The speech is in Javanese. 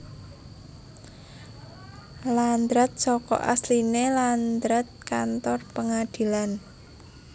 Landrat saka asline landraat kantor pengadilan